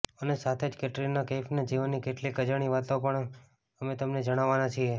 અને સાથે જ કેટરીના કૈફના જીવનની કેટલીક અજાણી વાતો પણ અમે તમને જણાવાના છીએ